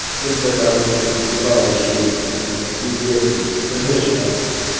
столько бабок уже въебал ещё это пиздец какой-то трэш нахуй